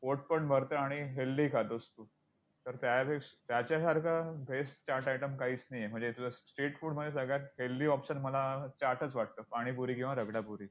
पोटपण भरतं आणि healthy खातोस तू तर त्याच्या~त्याच्यासारखं best चाट item काहीच नाही आहे. म्हणजे तुझं street food मध्ये सगळ्यात healthy option मला चाटच वाटतो, पाणीपुरी किंवा रगडापुरी!